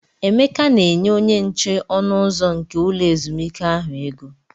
Emeka na-enye onyenche ọnụ ụzọ nke ulọ ezumike ahụ ego.